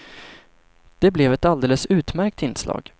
Det blev ett alldeles utmärkt inslag.